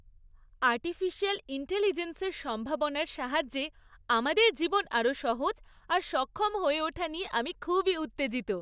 Artificial ইন্টেলিজেন্সের সম্ভাবনার সাহায্যে আমাদের জীবন আরও সহজ আর সক্ষম হয়ে ওঠা নিয়ে আমি খুবই উত্তেজিত।